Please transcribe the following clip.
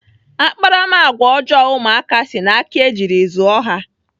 Akparamagwa ọjọọ ụmụaka si n'aka ejiri zụọ ha.